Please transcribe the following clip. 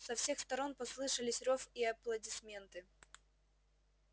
со всех сторон послышались рёв и аплодисменты